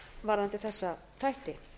varðandi þessa þætti